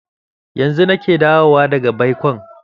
Yanzu nake dawowa daga baikon.